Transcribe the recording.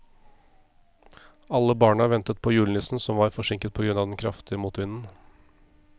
Alle barna ventet på julenissen, som var forsinket på grunn av den kraftige motvinden.